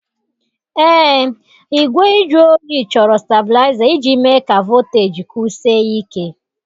Ee, igwe nju oyi chọrọ stablaịza iji mee ka voteji kwụsie ike.